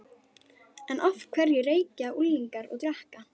En af hverju reykja unglingar og drekka?